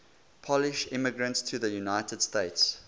polish immigrants to the united states